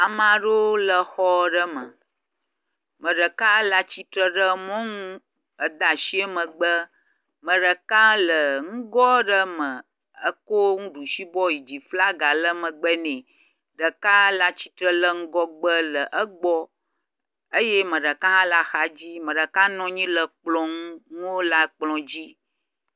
Ame aɖewo le xɔ aɖe me. Ame ɖeka le atsitre ɖe mɔnu eda asi megbe. Me ɖeka le nugo aɖe me eko nuɖusibɔ yi dzi flaga le megbe nɛ. Ɖeka le atsitre le ŋgɔgbe le egbɔ eye ame ɖeka hã le axadzi me ɖeka nɔ anyi le kplɔ nu nuwo le akplɔ di.